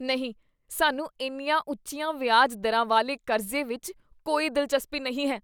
ਨਹੀਂ! ਸਾਨੂੰ ਇੰਨੀਆਂ ਉੱਚੀਆਂ ਵਿਆਜ ਦਰਾਂ ਵਾਲੇ ਕਰਜ਼ੇ ਵਿੱਚ ਕੋਈ ਦਿਲਚਸਪੀ ਨਹੀਂ ਹੈ।